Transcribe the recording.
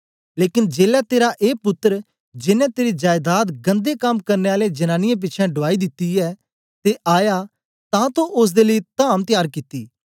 लेकन जेलै तेरा ए पुत्तर जेनें तेरी जायदाद गन्दे कम्म करने आले जनांनीयें पिछें डुआई दिती ऐ ते आया तां तो ओसदे लेई धाम त्यार कित्ती